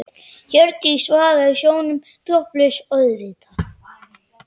Hjördísi vaða í sjónum, topplausa auðvitað.